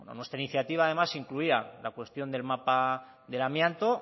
en nuestra iniciativa además se incluía la cuestión del mapa del amianto